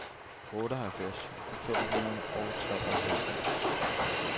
otteoghalvfems tusind fem hundrede og treoghalvfems